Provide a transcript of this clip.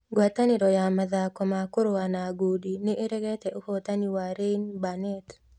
Ngwatanĩro ya mathako ma kũrũa na ngundi nĩ ĩregete ũhootani wa Ryan Burnett